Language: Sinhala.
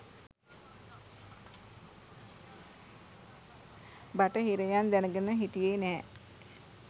බටහිරයන් දැනගෙන හිටියේ නැහැ